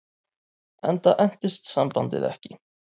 Enda entist sambandið ekki.